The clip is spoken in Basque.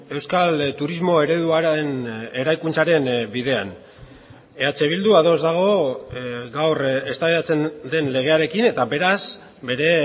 euskal turismo ereduaren eraikuntzaren bidean eh bildu ados dago gaur eztabaidatzen den legearekin eta beraz bere